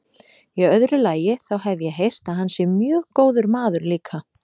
Í öðru lagi, þá hef ég heyrt að hann sé mjög góður maður líka.